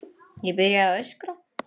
Ég byrjaði bara að öskra.